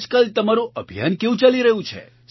આજકાલ તમારું અભિયાન કેવું ચાલી રહ્યું છે